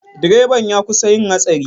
Direban ya kusa yin hatsari.